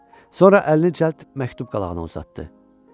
Sonra əlini cəld məktub qalağına uzatdı.